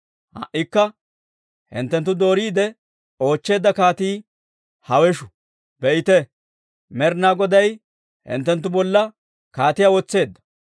Ha"ikka hinttenttu dooriide oochcheedda kaatii hawesh! Be'ite; Med'inaa Goday hinttenttu bolla kaatiyaa wotseedda.